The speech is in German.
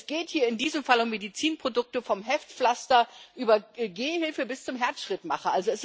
Es geht hier in diesem Fall um Medizinprodukte vom Heftpflaster über die Gehhilfe bis zum Herzschrittmacher.